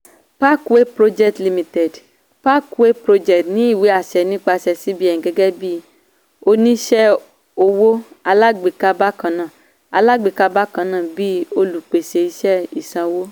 parkway projects limited parkway projects ní ìwé-àṣẹ nípasẹ̀ cbn gẹgẹ́ bí oníṣẹ́ owó alágbèéká bákan náà alágbèéká bákan náà bí olùpèsè iṣẹ́ ìsanwó.